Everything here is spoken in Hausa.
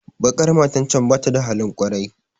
Baƙar matar can bata da halin kwarai